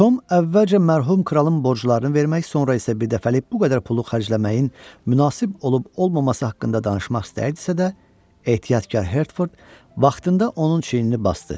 Tom əvvəlcə mərhum kralın borclarını vermək, sonra isə birdəfəlik bu qədər pulu xərcləməyin münasib olub-olmaması haqqında danışmaq istəyirdisə də, ehtiyatkar Hertford vaxtında onun çiynini basdı.